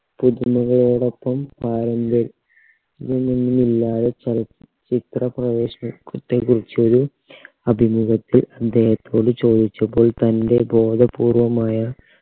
പുതുമുഖങ്ങളോടൊപ്പം ആരംഭം ളില്ലാതെ ചലച്ചിത്ര പ്രവേശന ത്തെ കുറിച്ചൊരു അഭിമുഖത്തിൽ അദ്ദേഹത്തോട് ചോദിച്ചപ്പോൾ തൻറെ ബോധപൂർവമായ